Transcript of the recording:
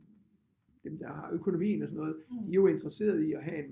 Dem der har økonomien og sådan noget de er jo interesserede i at have en